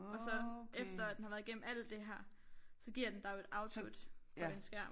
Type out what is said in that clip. Og så efter at den har været igennem alt der her så giver den dig jo et output på en skærm